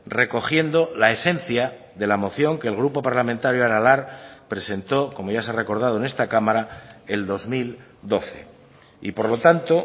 recogiendo la esencia de la moción que el grupo parlamentario aralar presentó como ya se ha recordado en esta cámara el dos mil doce y por lo tanto